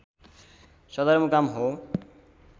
सदरमुकाम हो